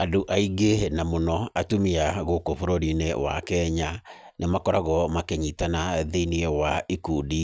Andũ aingĩ na mũno atumia gũkũ bũrũri-inĩ wa Kenya nĩmakoragwo makĩnyitana thĩinĩ wa ikundi